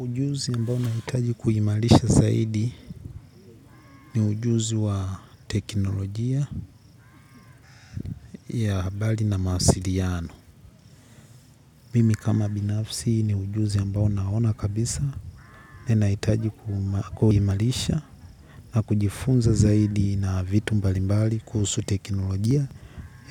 Ujuzi ambao nahitaji kuimarisha zaidi ni ujuzi wa teknolojia ya habari na mawasiliano. Mimi kama binafsi ni ujuzi ambao naona kabisa. Ninahitaji kuimarisha na kujifunza zaidi vitu mbalimbali kuhusu teknolojia